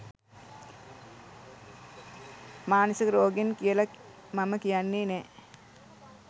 මානසික රෝගීන් කියල මම කියන්නේ නෑ.